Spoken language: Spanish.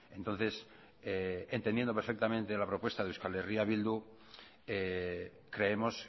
entonces entendiendo perfectamente la propuesta de euskal herria bildu creemos